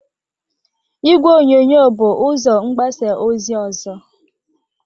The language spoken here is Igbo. Igwe onyonyo bụ ụzọ mgbasa ozi ọzọ.